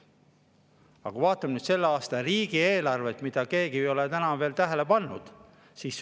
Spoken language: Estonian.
Aga vaatame nüüd selle aasta riigieelarvet, mida keegi ei ole täna veel tähele pannud.